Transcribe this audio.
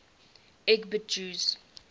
lgbt jews